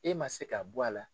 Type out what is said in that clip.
E man se k'a bɔ a la.